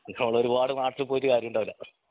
നമ്മളൊരുപാട് നാട്ടിൽ പോയിട്ട് കാര്യമുണ്ടാവില്ല